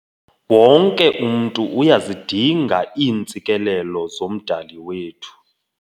Wonke umntu uyazidinga iintsikelelo zoMdali wethu.